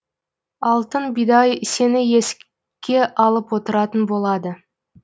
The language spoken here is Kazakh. алтын бидай сені еске алып отыратын болады